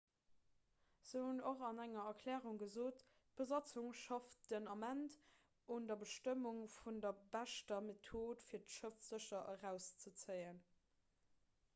se hunn och an enger erklärung gesot d'besatzung schafft den ament un der bestëmmung vun der beschter method fir d'schëff sécher erauszezéien